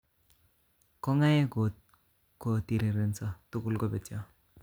Kong'aek ko kotirireso tugul kobetyo